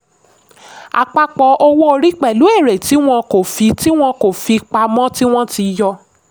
àpapọ̀ owó orí pẹ̀lú èrè tí wọ́n kò fi wọ́n kò fi pamọ́ tí wọ́n ti yọ.